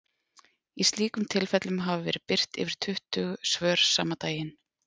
Í slíkum tilfellum hafa verið birt yfir tuttugu svör sama daginn.